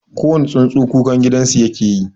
Kowani tsuntsu kukan gidansu yake yi.